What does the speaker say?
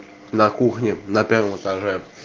на кухне на первом этаже